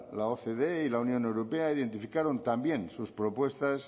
la ocde y la unión europea identificaron también sus propuestas